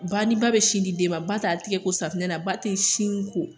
Ba, ni ba bɛ sin di den ma ba t'a tigɛ ko safinɛ na, ba tɛ sin ko